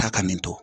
Taa ka nin to